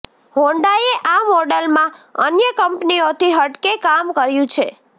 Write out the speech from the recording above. હોન્ડાએ આ મોડલમાં અન્ય કંપનીઓથી હટકે કામ કર્યું છે